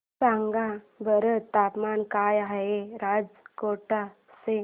सांगा बरं तापमान काय आहे राजकोट चे